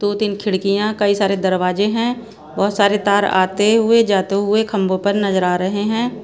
दो-तीन खिड़कियां कई सारे दरवाजे हैं बहुत सारे तार आते हुए जाते हुए खंभों पर नजर आ रहे हैं।